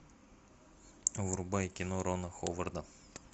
врубай кино рона ховарда